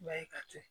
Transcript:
Ba ye ka to